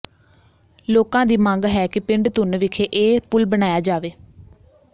ਲੋਕਾਂ ਦੀ ਮੰਗ ਹੈ ਕਿ ਪਿੰਡ ਧੁੰਨ ਵਿਖੇ ਇਹ ਪੁਲ ਬਣਾਇਆ ਜਾਵੇ